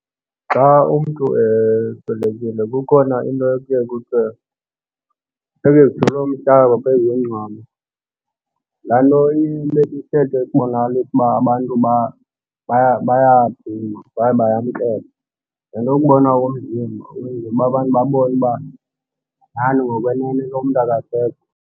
Xa umntu eswelekile kukhona into ekuye kuthiwe funeke kuthelwe umhlaba phezu kwengcwaba. Laa nto inesithethe esibonakalisa uba abantu bayaqina kwaye bayamkela. Nale nto yokubonwa komzimba ukwenzela abantu babone uba nyhani ngokwenene lo mntu akasekho.